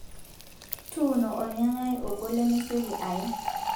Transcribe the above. Tuuno ornyanyai ogol lemesioki aye.